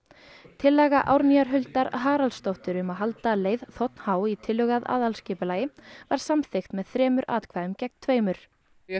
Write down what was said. tillaga Huldar Haraldsdóttur um að halda leið þ h í tillögu að aðalskipulagi var samþykkt með þremur atkvæðum gegn tveimur ég